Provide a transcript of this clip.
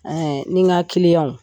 ni n ka